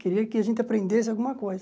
Queria que a gente aprendesse alguma coisa.